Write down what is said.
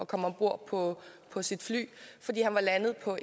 komme om bord på på sit fly fordi han var landet på